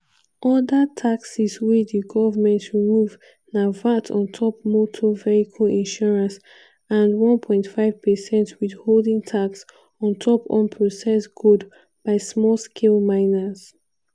oda taxes wey di goment remove na vat on top motor vehicle insurance and 1.5 percent withholding tax on top unprocessed gold by small scale miners.